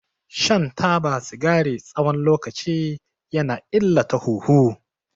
Shan taba sigari tsawon lokaci ya na illata huhu.